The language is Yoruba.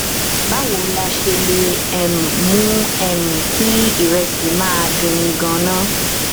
báwo la ṣe lè um mú um um kí ìrẹsè máa dunni ganan